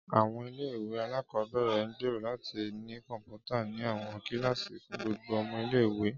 Áwọn ìle-ìwe alakọbẹrẹ n gbero lati ni kọnputa ni awọn kilasi fun gbogbo ọmọ ìle-ìwe.